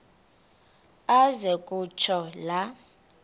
aze kutsho la